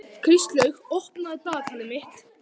Kristlaug, opnaðu dagatalið mitt.